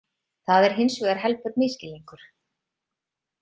Það er hins vegar helber misskilningur.